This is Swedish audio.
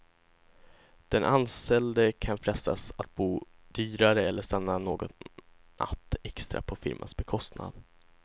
Den anställde kan frestas att bo dyrare eller stanna någon natt extra på firmans bekostnad.